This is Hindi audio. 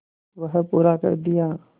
वह पूरा कर दिया